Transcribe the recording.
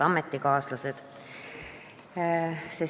Head ametikaaslased!